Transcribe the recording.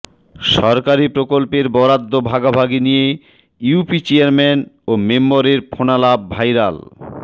সরকারি প্রকল্পের বরাদ্দ ভাগাভাগি নিয়ে ইউপি চেয়ারম্যান ও মেম্বরের ফোনালাপ ভাইরাল